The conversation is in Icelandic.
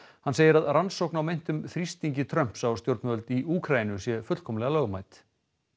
hann segir að rannsókn á meintum þrýstingi Trumps á stjórnvöld í Úkraínu sé fullkomlega lögmæt